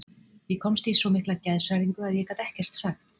Ég komst í svo mikla geðshræringu að ég gat ekkert sagt.